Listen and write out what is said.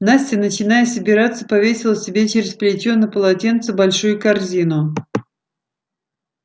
настя начиная собираться повесила себе через плечо на полотенце большую корзину